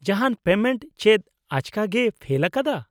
-ᱡᱟᱦᱟᱱ ᱯᱮᱢᱮᱱᱴ ᱪᱮᱫ ᱟᱪᱠᱟᱜᱮᱭ ᱯᱷᱮᱞ ᱟᱠᱟᱫᱟ ?